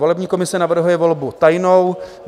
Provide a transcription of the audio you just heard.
Volební komise navrhuje volbu tajnou.